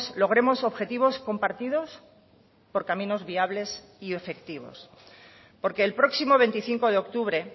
logremos objetivos compartidos por caminos viables y efectivos porque el próximo veinticinco de octubre